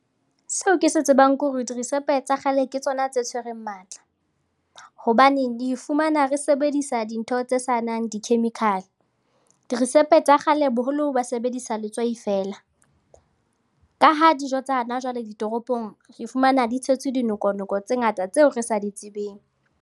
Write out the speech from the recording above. Seo ke se tsebang ke hore dirisepe tsa kgale ke tsona tse tshwereng matla hobane re fumana re sebedisa dintho tse sanang di-chemical, dirisepe tsa kgale boholo ba sebedisa letswai feela. Ka ha dijo tsa hana jwale ditoropong re fumana di tshetswe dinoko-noko tse ngata tseo re sa di tsebeng.